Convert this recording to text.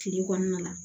Kile kɔnɔna la